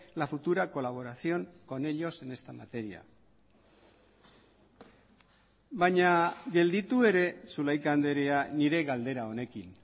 la futura colaboración con ellos en esta materia baina gelditu ere zulaika andrea nire galdera honekin